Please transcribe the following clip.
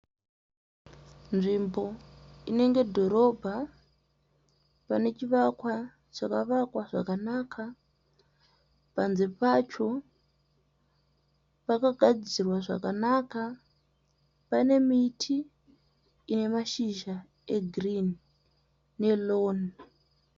Nzvimbo inenge dhorobha, pane chivakwa chakavakwa zvakanaka. Panze pacho pakagadzirwa zvakanaka. Pane miti ine mashizha egiruni ne roni.